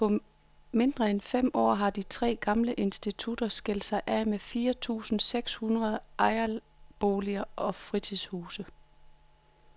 På mindre end fem år har de tre gamle institutter skilt sig af med fire tusinde seks hundrede ejerboliger og fritidshuse.